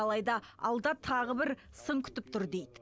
алайда алда тағы бір сын күтіп тұр дейді